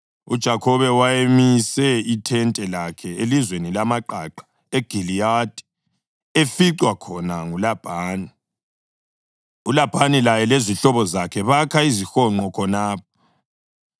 UJakhobe wayemise ithente lakhe elizweni lamaqaqa eGiliyadi eficwa khona nguLabhani, uLabhani laye lezihlobo zakhe bakha izihonqo khonapho.